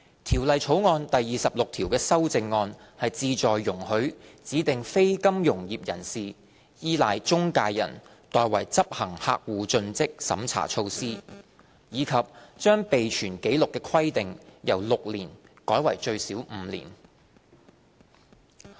《條例草案》第26條的修正案旨在容許指定非金融業人士依賴中介人代為執行客戶盡職審查措施，以及把備存紀錄的規定由6年改為最少5年。